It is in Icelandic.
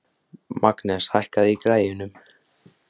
Magnes, hækkaðu í græjunum.